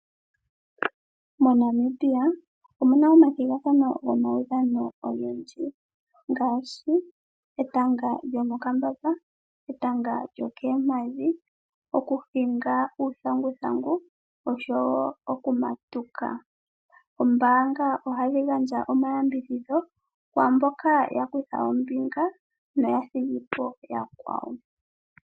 MoNamibia omuna omathigathano gomaudhano ogendji ngaashi etanga lyo mokambamba, etanga lyokoompadhi, okuhinga uuthanguthangu oshowo okumatuka. Oombanga ohadhi gandja omayambidhidho kwaamboka ya kutha ombinga na oya thiga po yakwawo.